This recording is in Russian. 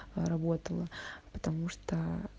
работало потому что